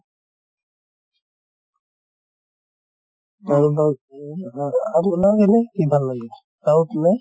কাৰোবাক আপোনাক এনে কি ভাল লাগে south না?